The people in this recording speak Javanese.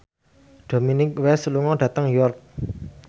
Dominic West lunga dhateng York